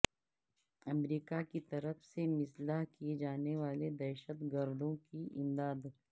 امریکہ کی طرف سے مسلح کیے جانے والے دہشت گردوں کی امداد